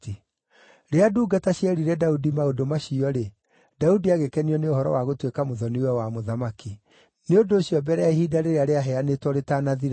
Rĩrĩa ndungata cierire Daudi maũndũ macio-rĩ, Daudi agĩkenio nĩ ũhoro wa gũtuĩka mũthoni-we wa mũthamaki. Nĩ ũndũ ũcio mbere ya ihinda rĩrĩa rĩaheanĩtwo rĩtanathira-rĩ,